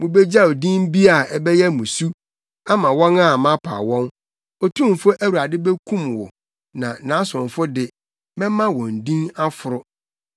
Wubegyaw din bi a ɛbɛyɛ mmusu ama wɔn a mapaw wɔn; Otumfo Awurade bekum wo na nʼasomfo de, mɛma wɔn din foforo.